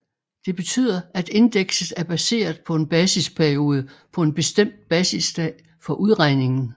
Det betyder at indekset er baseret på en basisperiode på en bestemt basisdag for udregningen